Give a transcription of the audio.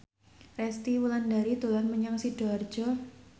Resty Wulandari dolan menyang Sidoarjo